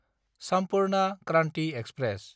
Sampurna Kranti express